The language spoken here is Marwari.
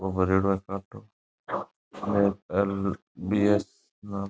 ओ भरेडो है काटो एल.बी.एस. --